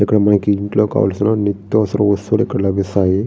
ఇక్కడ మనకి ఇంట్లో కావలసిన నిత్యవసర వస్తువులు ఇక్కడ లభిస్తాయి.